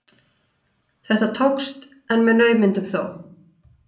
Þetta tókst, en með naumindum þó.